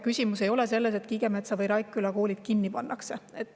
Küsimus ei ole selles, et Kiigemetsa või Raikküla koolid kinni pannakse.